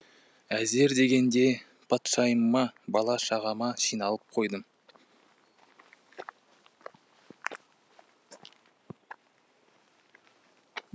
әзер дегенде патшайымыма бала шағама жиналып қойдым